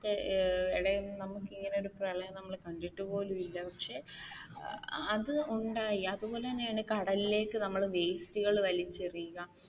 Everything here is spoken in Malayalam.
ഏർ നമുക്ക് ഇങ്ങനെ ഒരു പ്രളയം നമ്മൾ കണ്ടിട്ടപോലും ഇല്ല പക്ഷെ അത് ഉണ്ടായി അതുപോലെത്തനെയാണ് കടലിലേക്ക് നമ്മൾ വെസ്റ്റുകൾ വലിച്ചെറിയുക